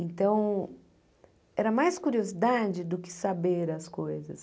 Então, era mais curiosidade do que saber as coisas.